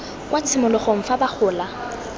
kwa tshimologong fa ba gola